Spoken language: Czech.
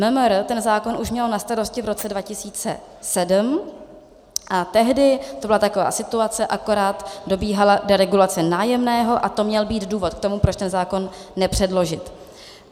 MMR ten zákon už mělo na starosti v roce 2007 a tehdy to byla taková situace, akorát dobíhala deregulace nájemného a to měl být důvod k tomu, proč ten zákon nepředložit.